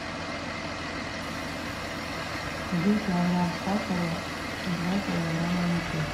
один килограмм сахара два килограмма муки